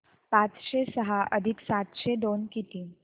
पाचशे सहा अधिक सातशे दोन किती